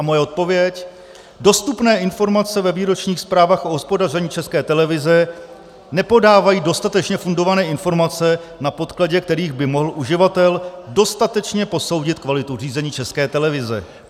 A moje odpověď: dostupné informace ve výročních zprávách o hospodaření České televize nepodávají dostatečně fundované informace, na podkladě kterých by mohl uživatel dostatečně posoudit kvalitu řízení České televize.